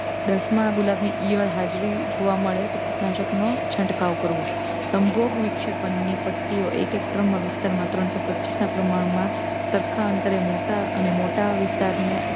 દસ માં ગુલાબની ઇયળ હાજરી જોવા મળે તો કીટનાશક નો છંટકાવ કરવો સંભોગવિક્ષેપનની પટ્ટીઓ એક એક ટ્રમમાં વિસ્તારમાં ત્રણસો પચ્ચીસ ના પ્રમાણમાં સરખા અંતરે મોટા અને મોટા વિસ્તારને